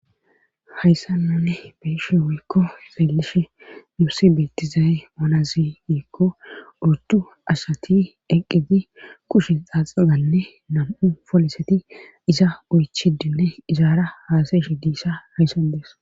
hayssannanne beeshe woykko xelishe nuusi beetizaye manaziiikko urtu ashati eqqiti kushe xaaxaganne nam7u poliseti iza oychidinne izaara haasayish diissa hayssan dees